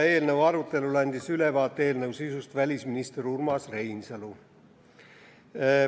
Eelnõu arutelul andis meile selle sisust ülevaate välisminister Urmas Reinsalu.